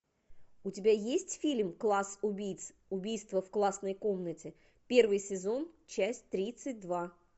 у тебя есть фильм класс убийц убийство в классной комнате первый сезон часть тридцать два